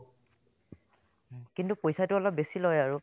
উম্, কিন্তু পইচাটো অলপ বেছি লয় আৰু